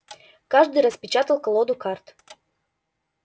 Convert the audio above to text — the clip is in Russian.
каждый распечатал колоду карт